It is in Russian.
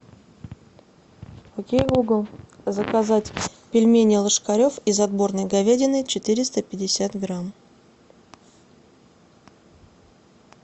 окей гугл заказать пельмени ложкарев из отборной говядины четыреста пятьдесят грамм